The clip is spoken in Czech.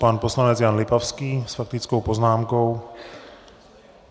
Pan poslanec Jan Lipavský s faktickou poznámkou.